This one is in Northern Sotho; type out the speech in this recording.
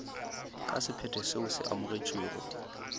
ka sephetho seo se amogetšwego